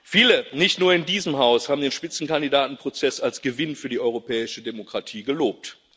Viele, nicht nur in diesem Haus, haben den Spitzenkandidatenprozess als Gewinn für die europäische Demokratie gelobt.